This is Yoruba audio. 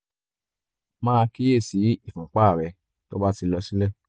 máa kíyè sí ìfúnpá rẹ tó bá ti lọ sílẹ̀